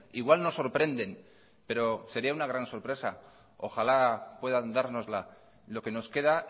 igual nos sorprenden pero sería una gran sorpresa ojala puedan dárnosla lo que nos queda